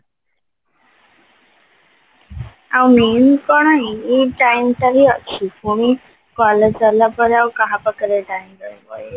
ଆଉ main କଣ ଏଇ time ଟା ହି ଅଛି ପୁଣି college ସରିଲା ପରେ ଆଉ କାହା ପାଖରେ time ରହିବ ଏଇ